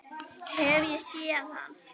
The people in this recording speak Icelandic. Hef ég séð hann?